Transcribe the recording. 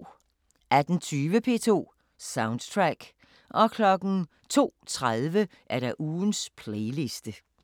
18:20: P2 Soundtrack 02:30: Ugens playliste